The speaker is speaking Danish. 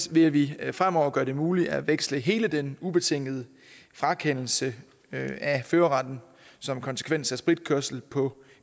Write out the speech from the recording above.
vil vi fremover gøre det muligt at veksle hele den ubetingede frakendelse af førerretten som konsekvens af spritkørsel på